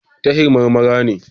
Tahir Marmara ne.